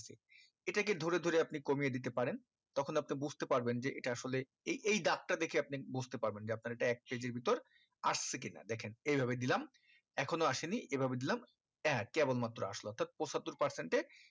এটাকে ধরে ধরে আপনি কমিয়ে দিতে পারেন তখন আপনি বুজতে পারবেন যে এটা আসলে এ~এই দাগটা দেখে আপনি বুজতে পারবেন যে এটা এক ভিতর আসছে কি না দেখেন এই ভাবে দিলাম এখনো আসেনি এই ভাবে দিলাম অ্যা কেবল মাত্র আসলো অর্থাৎ পঁচাত্তর percent এ